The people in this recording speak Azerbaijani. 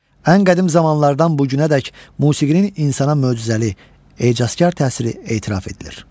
Ən qədim zamanlardan bu günədək musiqinin insana möcüzəli, ecazkar təsiri etiraf edilir.